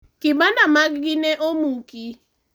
kibanda maggi ne omuki